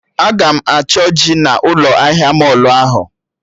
Aga m achọ ji na ụlọ ahịa mọlụ ahụ